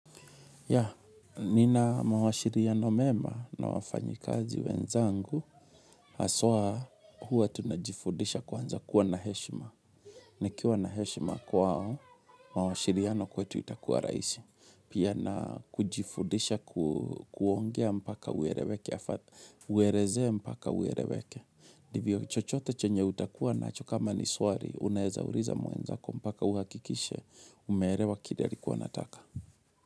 Ya, nina mawasiliano mema na wafanyikazi wenzangu, haswa huwa tunajifundisha kwanza kuwa na heshima. Nikiwa na heshima kwao, mawasiliano kwetu itakuwa raisi. Pia na kujifundisha kuongea mpaka ueleweke, uelezee mpaka ueleweke. Ndivyo chochote chenye utakuwa nacho kama ni swali, uneza uliza mwenzako mpaka uhakikishe, umeelewa kile alikuwa anataka.